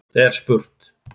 er spurt.